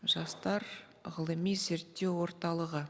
жастар ғылыми зерттеу орталығы